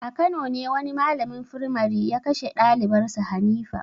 A Kano ne wani malamin firmare ya kashe dalibar sa Hanifa.